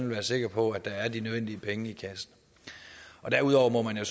være sikker på at der er de nødvendige penge i kassen derudover må man jo